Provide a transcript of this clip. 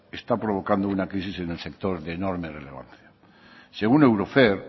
está provocando una crisis en el sector de enorme relevancia según eurofer